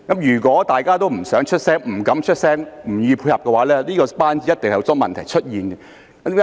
如果大家都不願發聲，不敢發聲，不願意配合，這個班子一定會有很多問題出現。